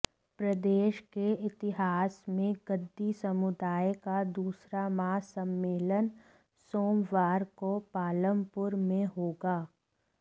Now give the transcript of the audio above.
प्रदेश के इतिहास में गद्दी समुदाय का दूसरा महासम्मेलन सोमवार को पालमपुर में होगा